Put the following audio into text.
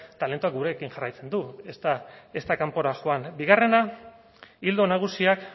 talentuak gurekin jarraitzen du ez da kanpora joan bigarrena ildo nagusiak